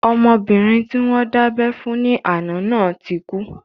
Ọmọbìnrin tí wọ́n dábẹ́ fún ní àná náà ti kú